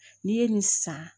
N'i ye nin san